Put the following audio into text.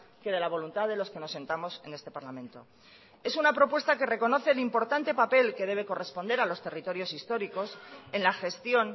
que de la voluntad de los que nos sentamos en este parlamento es una propuesta que reconoce el importante papel que debe corresponder a los territorios históricos en la gestión